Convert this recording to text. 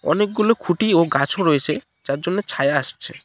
অনেকগুলো খুঁটি ও গাছও রয়েছে যার জন্যে ছায়া আসছে।